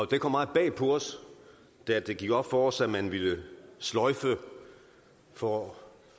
det kom meget bag på os da det gik op for os at man ville sløjfe for